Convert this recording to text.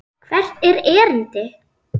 Hvert er erindi?